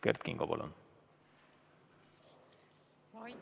Kert Kingo, palun!